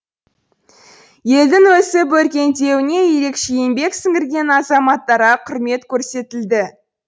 елдің өсіп өркендеуіне ерекше еңбек сіңірген азаматтарға құрмет көрсетілді